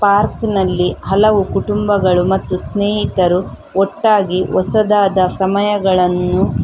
park ನಲ್ಲಿ ಹಲವು ಕುಟುಂಬಗಳು ಮತ್ತು ಸ್ನೇಹಿತರು ಒಟ್ಟಾಗಿ ಹೊಸದಾದ ಸಮಯಗಳನ್ನು --